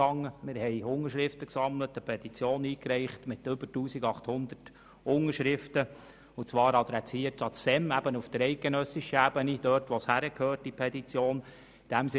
Wir sammelten Unterschriften und reichten eine Petition ein mit über 1800 Unterschriften und zwar adressiert an das SEM, also an die eidgenössische Ebene, dort wo die Petition eben hingehört.